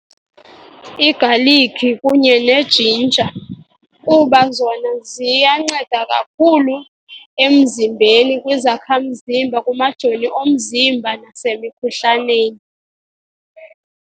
Igalikhi kunye nejinja kuba zona ziyanceda kakhulu emzimbeni, kwizakhamzimba, kumajoni omzimba nasemikhuhlaneni.